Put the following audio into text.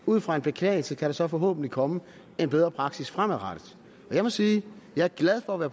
ud fra en beklagelse kan der så forhåbentlig komme en bedre praksis fremadrettet og jeg må sige at jeg er glad for at være